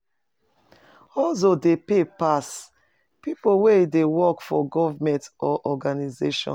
Hustle dey pay pass pipo wey dey work for government or organisations